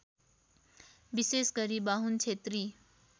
विशेषगरी बाहुन क्षेत्री